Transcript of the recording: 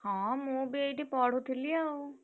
ହଁ ମୁଁ ବି ଏଇଠି ପଢୁଥିଲି ଆଉ।